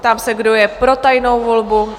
Ptám se, kdo je pro tajnou volbu?